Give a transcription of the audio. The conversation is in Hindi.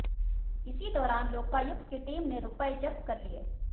इसी दौरान लोकायुक्त की टीम ने रूपए जब्त कर लिए